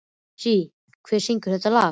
Siv, hver syngur þetta lag?